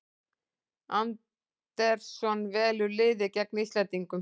Andersson velur liðið gegn Íslendingum